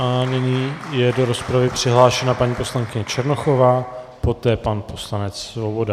A nyní je do rozpravy přihlášená paní poslankyně Černochová, poté pan poslanec Svoboda.